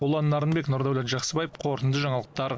ұлан нарынбек нұрдәулет жақсыбаев қорытынды жаңалықтар